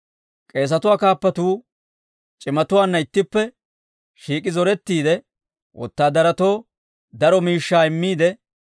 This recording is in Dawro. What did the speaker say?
K'eesatuwaa kaappatuu c'imatuwaanna ittippe shiik'i zorettiide, wotaadaratoo daro miishshaa immiide,